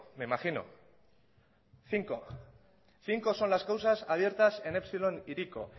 me imagino cinco cinco son las causas abiertas en epsilon hiriko